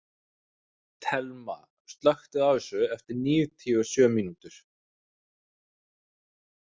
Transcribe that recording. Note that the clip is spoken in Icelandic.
Telma, slökktu á þessu eftir níutíu og sjö mínútur.